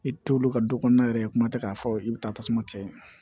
I t'olu ka du kɔnɔna yɛrɛ kuma tɛ k'a fɔ i bɛ taa tasuma cɛ